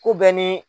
Ku bɛ ni